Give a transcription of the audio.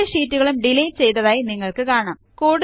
രണ്ട് ഷീറ്റുകളും ഡിലീറ്റ് ചെയ്തായി നിങ്ങൾക്ക് കാണാം